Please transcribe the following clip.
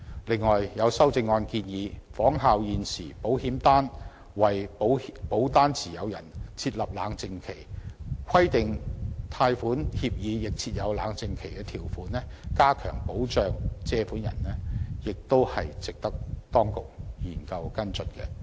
此外，有修正案建議仿效現時保險業為保單持有人設立冷靜期，規定貸款協議亦須設有冷靜期條款，加強保障借款人，也是值得當局研究和跟進的。